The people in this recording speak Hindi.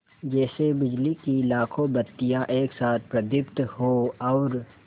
जैसे बिजली की लाखों बत्तियाँ एक साथ प्रदीप्त हों और